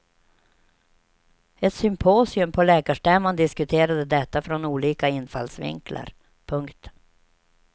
Ett symposium på läkarstämman diskuterade detta från olika infallsvinklar. punkt